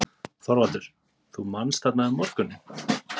ÞORVALDUR: Þú manst: þarna um morguninn?